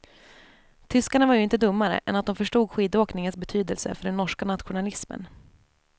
Tyskarna var ju inte dummare än att de förstod skidåkningens betydelse för den norska nationalismen.